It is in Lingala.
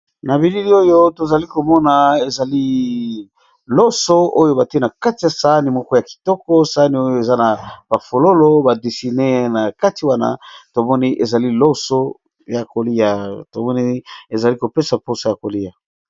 Na bilili oyo tozali komona ezali loso oyo bati na kati ya sani moko ya kitoko sani oyo eza na bafololo badisine na kati wana oieliosykoliatomonii ezali kopesa mposo ya kolia.